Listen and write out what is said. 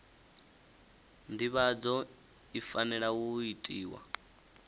nḓivhadzo i fanela u itiwa